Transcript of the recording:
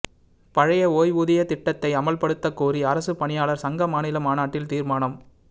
பழைய ஓய்வூதியத் திட்டத்தை அமல்படுத்தக் கோரி அரசுப் பணியாளா் சங்க மாநில மாநாட்டில் தீா்மானம்